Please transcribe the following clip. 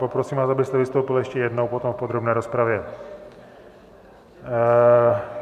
Poprosím vás, abyste vystoupil ještě jednou potom v podrobné rozpravě.